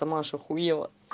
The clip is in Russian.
сама аж ахуела